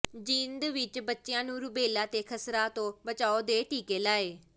ਜੀਂਦ ਵਿੱਚ ਬੱਚਿਆਂ ਨੂੰ ਰੁਬੈਲਾ ਤੇ ਖਸਰਾ ਤੋਂ ਬਚਾਓ ਦੇ ਟੀਕੇ ਲਾਏ